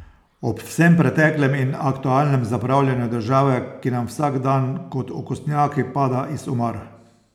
Ob vsem preteklem in aktualnem zapravljanju države, ki nam vsak dan kot okostnjaki pada iz omar.